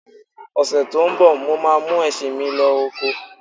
Ọ̀sè tí ń bọ̀, mo ma mú ẹṣin mí lọ oko